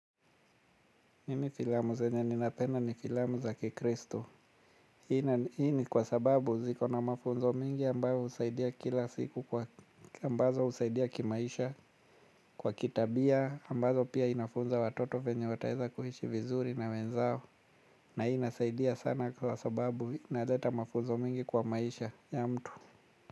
Mimi filamu zenye ninapenda ni filamu za kikristo. Hii ni kwa sababu zikona mafunzo mengi ambayo husaidia kila siku kwa ambazo husaidia kimaisha kwa kitabia ambazo pia inafunza watoto venye wataweza kuishi vizuri na wenzao. Na hii inasaidia sana kwa sababu inaleta mafunzo mengi kwa maisha ya mtu.